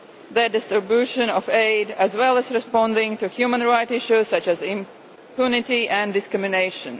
the distribution of aid, as well as responding to human rights issues such as impunity and discrimination.